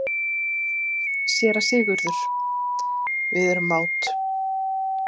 SÉRA SIGURÐUR: Við erum mát.